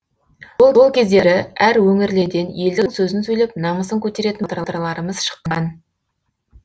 сол кездері әр өңірлерден елдің сөзін сөйлеп намысын көтеретін батырларымыз шыққан